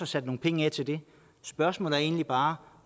sat nogle penge af til det spørgsmålet er egentlig bare